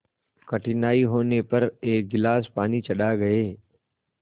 कठिनाई होने पर एक गिलास पानी चढ़ा गए